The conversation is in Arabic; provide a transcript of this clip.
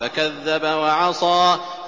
فَكَذَّبَ وَعَصَىٰ